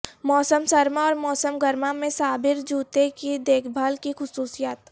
موسم سرما اور موسم گرما میں سابر جوتے کی دیکھ بھال کی خصوصیات